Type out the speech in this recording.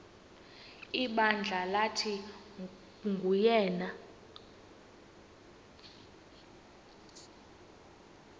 ibandla lathi nguyena